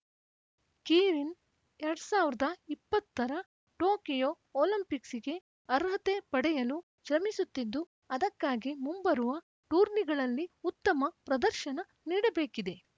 keirin ಎರಡ್ ಸಾವಿರದ ಇಪ್ಪತ್ತರ ಟೋಕಿಯೋ ಒಲಿಂಪಿಕ್ಸ್‌ಗೆ ಅರ್ಹತೆ ಪಡೆಯಲು ಶ್ರಮಿಸುತ್ತಿದ್ದು ಅದಕ್ಕಾಗಿ ಮುಂಬರುವ ಟೂರ್ನಿಗಳಲ್ಲಿ ಉತ್ತಮ ಪ್ರದರ್ಶನ ನೀಡಬೇಕಿದೆ